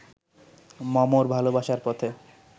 মমর ভালোবাসার পথে